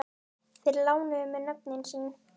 Þeir lánuðu mér nöfnin sín.